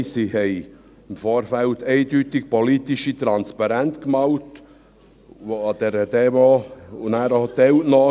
Nein, sie haben im Vorfeld eindeutig politische Transparente gemalt, die an dieser Demo dann auch mitgenommen wurden.